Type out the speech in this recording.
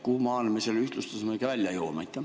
Kuhumaani me selle ühtlustamisega välja jõuame?